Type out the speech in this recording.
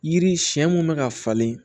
Yiri siɲɛ mun bɛ ka falen